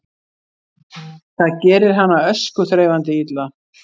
Það gerir hana öskuþreifandi illa